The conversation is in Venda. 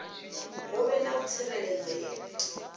hu vhe na u tsireledzea